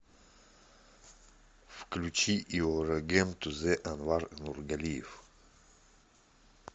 включи йорэгем тузэ анвар нургалиев